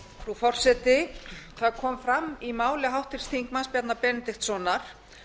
frú forseti það kom fram í máli háttvirts þingmanns bjarna benediktssonar